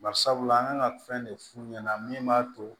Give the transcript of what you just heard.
Bari sabula an ka kan ka fɛn de f'u ɲɛna min b'a to